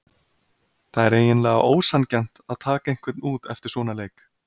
Það er eiginlega ósanngjarnt að taka einhvern út eftir svona leik.